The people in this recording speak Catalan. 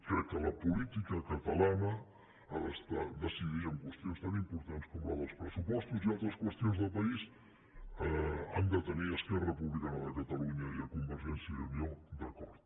crec que la política catalana ha de decidir en qüestions tan importants com la dels pressupostos i altres qüestions de país han de tenir esquerra republicana i convergència i unió d’acord